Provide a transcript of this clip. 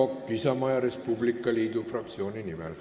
Aivar Kokk Isamaa ja Res Publica Liidu fraktsiooni nimel.